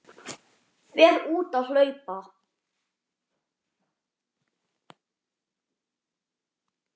Fer út að hlaupa.